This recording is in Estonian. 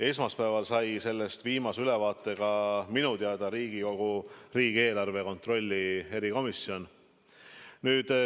Esmaspäeval sai sellest viimase ülevaate minu teada Riigikogu riigieelarve kontrolli erikomisjon.